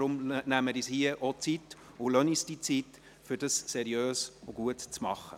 Deshalb nehmen wir uns hier auch die Zeit und lassen uns die Zeit, um das seriös und gut zu machen.